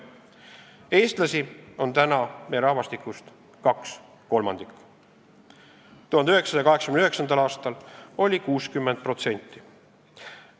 Eestlasi on täna Eesti rahvastikus kaks kolmandikku, 1989. aastal oli eestlasi 60%.